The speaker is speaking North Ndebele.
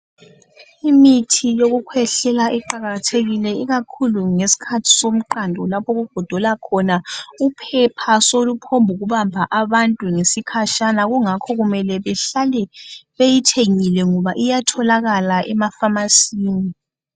Imithi yokukhwehlela iqakathekile ikakhulu ngesikhathi somqando lapho okugodola khona, uphepha soluphokubamba abantu ngesikhatshana kungakho kumele behlale beyithengile ngoba iyatholakala emafamasini.